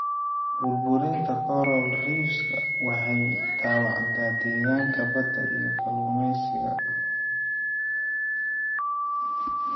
Burburinta coral reefs-ka waxay dhaawacdaa deegaanka badda iyo kalluumeysiga.